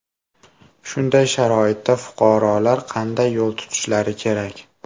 Shunday sharoitda fuqarolar qanday yo‘l tutishlari kerak?